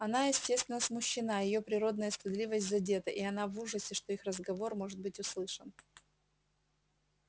она естественно смущена её природная стыдливость задета и она в ужасе что их разговор может быть услышан